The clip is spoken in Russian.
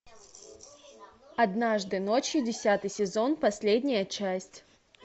однажды ночью десятый сезон последняя часть